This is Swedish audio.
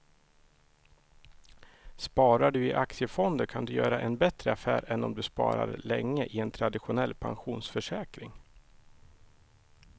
Sparar du i aktiefonder kan du göra en bättre affär än om du sparar länge i en traditionell pensionsförsäkring.